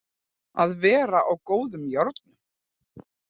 Að vera á góðum járnum